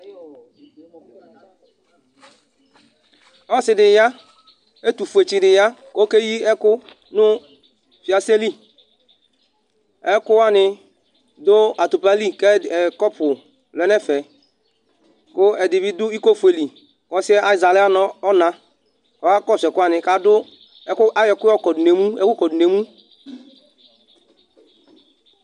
ɔse di ya ɛtofue tsi di ya ko okeyi ɛko no fiase li ɛko wani do atupa li ko kɔpu lɛ n'ɛfɛ ko ɛdi bi do iko fue li ko ɔsiɛ azɛ ala n'ɔna ko ɔka kɔso ɛkowani k'ado ɛko ayɔ ɛko yɔ kɔdo n'emu